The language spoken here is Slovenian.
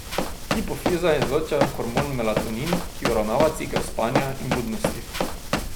Hipofiza izloča hormon melatonin, ki uravnava cikel spanja in budnosti.